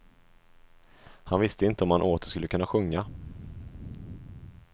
Han visste inte om han åter skulle kunna sjunga.